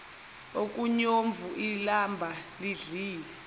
okomnyovu ilamba lidlile